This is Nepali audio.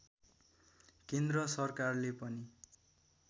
केन्द्र सरकारले पनि